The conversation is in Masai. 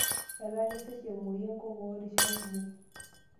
Etaa kesesh emuoyu enkokoo rishat kumok.